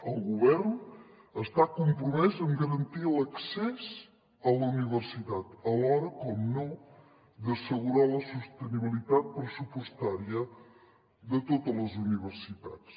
el govern està compromès amb garantir l’accés a la universitat alhora per descomptat d’assegurar la sostenibilitat pressupostària de totes les universitats